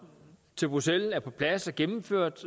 til bruxelles er på plads og gennemført